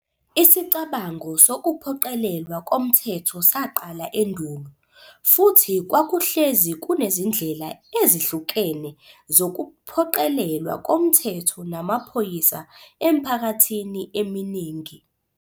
Isicabango sokuphoqelelwa komthetho saqala endulo, futhi kwakuhlezi kunezindlela ezihlukene zokuphoqelelwa komthetho namaphoyisa emphakathini eminingi.